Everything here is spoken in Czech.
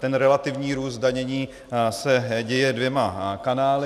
Ten relativní růst zdanění se děje dvěma kanály.